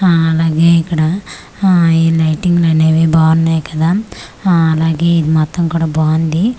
ఆ అలాగే ఇక్కడ ఆ ఈ లైటింగ్ అనేవి బాగున్నాయ్ కదా ఆఆ అలాగే ఇది మొత్తం కూడా బాగుంది చు--